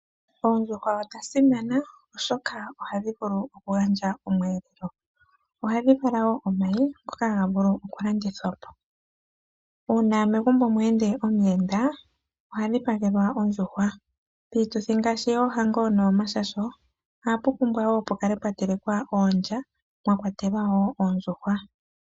Oondjuhwa odhasimana oshoka ohadhi vulu okugandja omweleleo ohadhi vala wo omayi ngoka haga vulu okulandithwa po. Uuna megumbo mwende omuyenda ohadhipagelwa oondjuhwa. Piituthi ngaashi yohango nomashasho ohapu pumbwa wo pukale pwatelekwa oondja mwakwatelwa wo oondjuhwa.